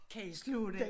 Kan i slå den